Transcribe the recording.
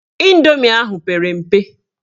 Indomi ahụ pere mpe.